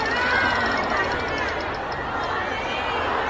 Ləbbeyk, Ya Hüseyn! Ləbbeyk, Ya Hüseyn!